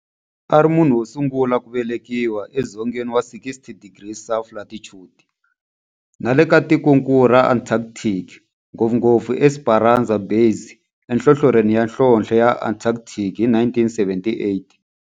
A ri munhu wosungula ku velekiwa edzongeni wa 60 degrees south latitude nale ka tikonkulu ra Antarctic, ngopfungopfu eEsperanza Base enhlohlorhini ya nhlonhle ya Antarctic hi 1978.